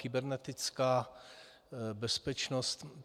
Kybernetická bezpečnost.